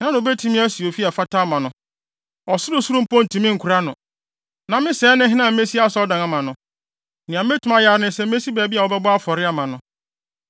Hena na obetumi asi ofi a ɛfata ama no? Ɔsorosoro mpo ntumi nkora no. Na me sɛɛ ne hena a mesi asɔredan ama no? Nea metumi ayɛ ara ne sɛ mesi baabi a wɔbɛbɔ afɔre ama no.